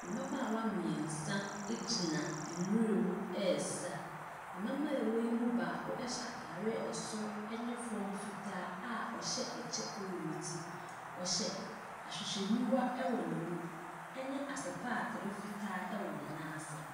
Mmabaawa mmeɛnsa gyina nwura mu resa. Mmabaawa yi mu baako hyɛ atadeɛ asoro ne fam fitaa a ɔhyɛ ɛkyɛ wɔ ne ti. Ɔhyɛ ahwehwɛniwa wɔ n'ani, ne asepatere fitaa wɔ ne nan ase.